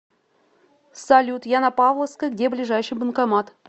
салют я на павловской где ближайший банкомат